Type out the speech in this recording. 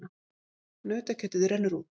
Nautakjötið rennur út